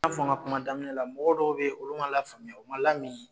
N y'a fɔ n ka kuma daminɛ na mɔgɔ dɔw bɛ yen olu ma lafaamuya u ma lami